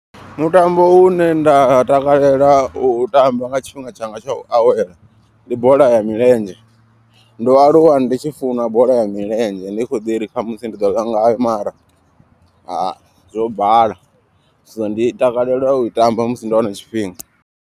Mutambo une nda takalela u u tamba nga tshifhinga tshanga tsha u awela ndi bola ya milenzhe. Ndo aluwa ndi tshi funa bola ya milenzhe ndi kho ḓi ri khamusi ndi ḓo ḽa ngayo mara zwo bala. So ndi takalela u i tamba musi ndo wana tshifhinga.